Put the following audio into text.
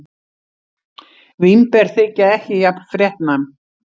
Vínber þykja ekki jafn fréttnæm.